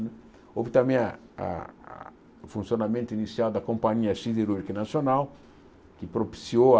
Houve também a a a o funcionamento inicial da Companhia Siderúrgica Nacional, que propiciou a...